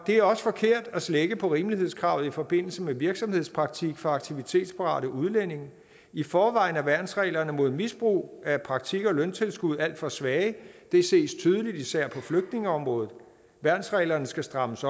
er også forkert at slække på rimelighedskravet i forbindelse med virksomhedspraktik for aktivitetsparate udlændinge i forvejen er værnsreglerne mod misbrug af praktik og løntilskud alt for svage det ses tydeligt især på flygtningeområdet så værnsreglerne skal strammes